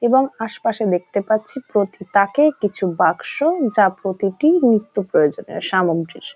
এবং আশপাশে দেখতে পাচ্ছি প্রতি তাকে কিছু বাক্স যা প্রতিটি নিত্যপ্রয়োজনীয় সামগ্রির।